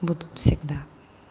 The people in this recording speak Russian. будут всегда